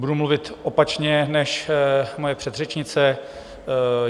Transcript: Budu mluvit opačně než moje předřečnice.